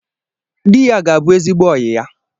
Dị ya ga-abụ ezigbo oyi ya